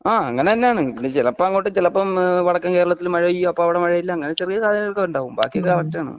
അങ്ങനെ തന്നെയാണ്. പിന്നെ ചിലപ്പോൾ അങ്ങോട്ട് ചിലപ്പം വടക്കൻ കേരളത്തിൽ. മഴ പെയ്യുംഅപ്പോൾ അവിടെ മഴ ഇല്ല അങ്ങനെ ചെറിയ സാഹചര്യങ്ങളൊക്കെ ഉണ്ടാവും. ബാക്കി എല്ലാം കറക്ടാണ്.